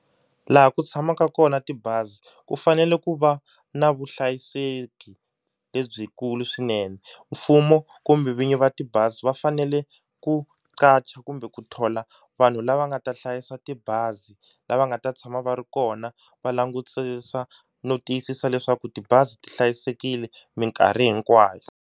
Laha ku tshamaka kona tibazi ku fanele ku va na vuhlayiseki lebyikulu swinene, mfumo kumbe vinyi va tibazi va fanele ku ka qacha kumbe ku thola vanhu lava nga ta hlayisa tibazi lava nga ta tshama va ri kona va langutisisa no tiyisisa leswaku tibazi ti hlayisekile minkarhi hinkwayo.